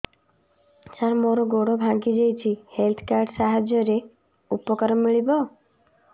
ସାର ମୋର ଗୋଡ଼ ଭାଙ୍ଗି ଯାଇଛି ହେଲ୍ଥ କାର୍ଡ ସାହାଯ୍ୟରେ ଉପକାର ମିଳିବ